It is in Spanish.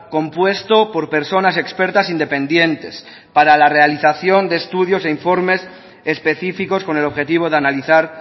compuesto por personas expertas independientes para la realización de estudios e informes específicos con el objetivo de analizar